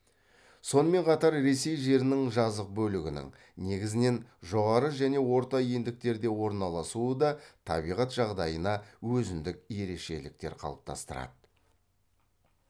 сонымен қатар ресей жерінің жазық бөлігінің негізінен жоғары және орта ендіктерде орналасуы да табиғат жағдайына өзіндік ерекшеліктер қалыптастырады